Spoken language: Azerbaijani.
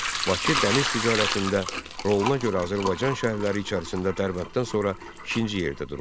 Bakı dəniz ticarətində roluna görə Azərbaycan şəhərləri içərisində Dərbənddən sonra ikinci yerdə dururdu.